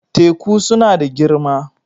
Teku suna da girma.